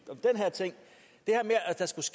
tak